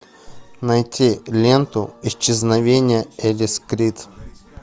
найти ленту исчезновение элис крид